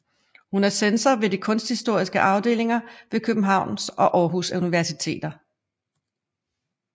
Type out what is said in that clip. Hun er censor ved de kunsthistoriske afdelinger ved Københavns og Aarhus Universiteter